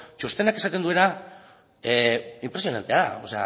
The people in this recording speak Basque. txostenak esaten duena inpresionantea da o